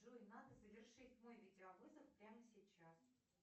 джой надо завершить мой видеовызов прямо сейчас